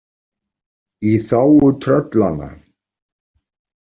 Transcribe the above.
Í þágu tröllanna.